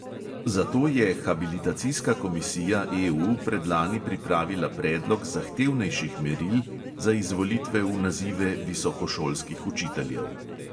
Zato je habilitacijska komisija EU predlani pripravila predlog zahtevnejših meril za izvolitve v nazive visokošolskih učiteljev.